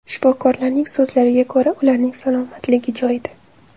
Shifokorlarning so‘zlariga ko‘ra, ularning salomatligi joyida.